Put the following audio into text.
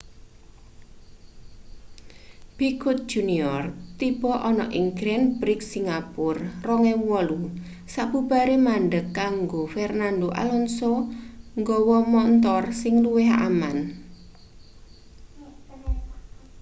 piquet jr tiba ana ing grand prix singapura 2008 sabubare mandheg kanggo fernando alonso nggawa montor sing luwih aman